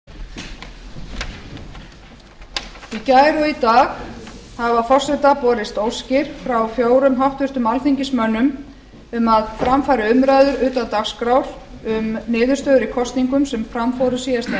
í gær og í dag hafa forseta borist óskir frá fjórum háttvirtum alþingismönnum um að fram fari umræður utan dagskrár um niðurstöður í kosningum sem fram fóru síðastliðinn